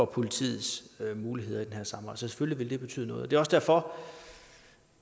politis muligheder for